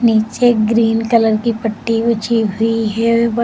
नीचे green colour की पट्टी ऊंची हुई है।